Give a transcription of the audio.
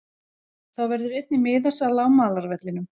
Þá verður einnig miðasala á malarvellinum.